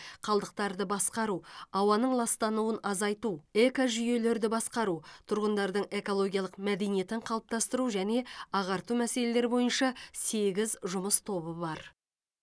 қалдықтарды басқару ауаның ластануын азайту экожүйелерді басқару тұрғындардың экологиялық мәдениетін қалыптастыру және ағарту мәселелері бойынша сегіз жұмыс тобы бар